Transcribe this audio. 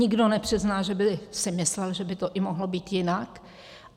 Nikdo nepřizná, že by si myslel, že by to i mohlo být jinak.